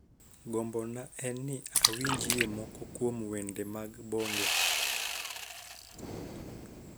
Gombona en ni awinjie moko kuom wendemag bongo